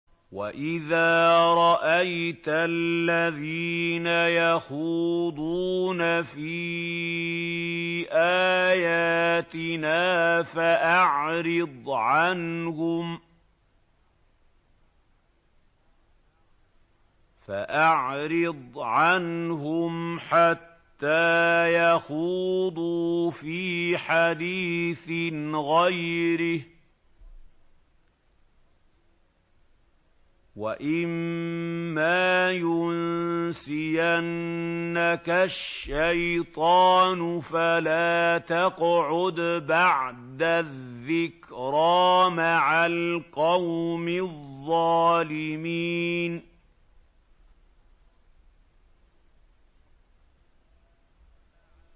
وَإِذَا رَأَيْتَ الَّذِينَ يَخُوضُونَ فِي آيَاتِنَا فَأَعْرِضْ عَنْهُمْ حَتَّىٰ يَخُوضُوا فِي حَدِيثٍ غَيْرِهِ ۚ وَإِمَّا يُنسِيَنَّكَ الشَّيْطَانُ فَلَا تَقْعُدْ بَعْدَ الذِّكْرَىٰ مَعَ الْقَوْمِ الظَّالِمِينَ